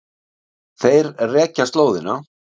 Þeir rekja slóðina.